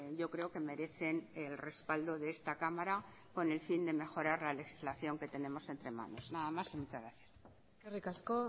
yo creo que merecen el respaldo de esta cámara con el fin de mejorar la legislación que tenemos entre manos nada más y muchas gracias eskerrik asko